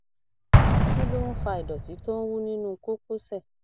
kí ló ń fa ìdọtí tó ń wú nínú kókósẹ